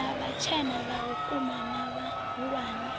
na vhatshena vhauku na vhahulwane